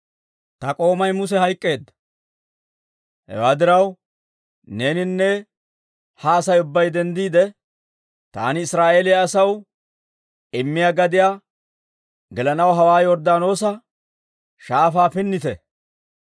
«Ta k'oomay Muse hayk'k'eedda. Hewaa diraw neeninne ha Asay ubbay denddiide taani Israa'eeliyaa asaw immiyaa gadiyaa gelanaw hawaa Yorddaanoosa shaafaa pinnite.